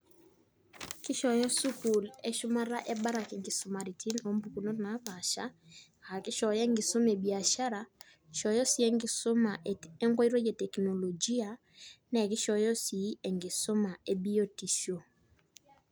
Kishoyo sukul eshumata ebarak kisumaritin ompukunot napasha aakishooyo enkisuma ebiashara , kishooyo sii enkisuma enkoitoi eteknologia naa kishooyo sii enkisuma ebiotisho.